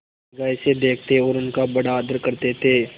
निगाह से देखते और उनका बड़ा आदर करते थे